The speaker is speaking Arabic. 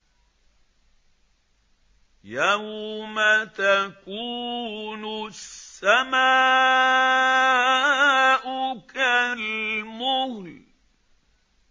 يَوْمَ تَكُونُ السَّمَاءُ كَالْمُهْلِ